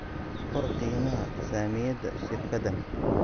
qor qiimaha saamiyada shirkaddan